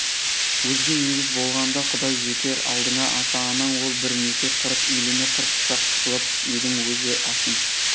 өзге егіз болғанда құдай жеке алдыңда ата-анаң ол бір меке қырық үйліні қырық пышақ қылып едің өз асың